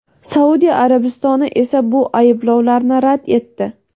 Saudiya Arabistoni esa bu ayblovlarni rad etdi.